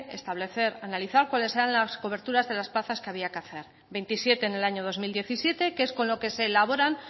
establecer y analizar cuáles eran las coberturas de las plazas que había que hacer veintisiete en el año dos mil diecisiete que es con lo que se elaboran